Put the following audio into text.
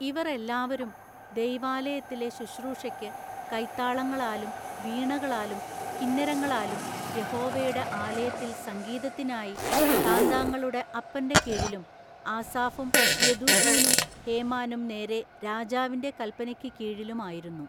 ഇവർ എല്ലാവരും ദൈവാലയത്തിലെ ശുശ്രൂഷെക്കു കൈത്താളങ്ങളാലും വീണകളാലും കിന്നരങ്ങളാലും യഹോവയുടെ ആലയത്തിൽ സംഗീതത്തിന്നായി താന്താങ്ങളുടെ അപ്പന്റെ കീഴിലും ആസാഫും യെദൂഥൂനും ഹേമാനും നേരെ രാജാവിന്റെ കല്പനെക്കു കീഴിലും ആയിരുന്നു.